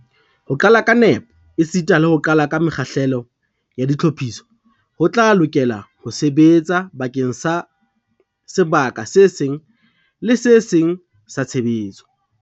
Ho qala ka nepo esita le ho qala ka mekgahlelo ya ditlhophiso ho tla lokela ho sebetsa bakeng sa sebaka se seng le se seng sa tshebetso.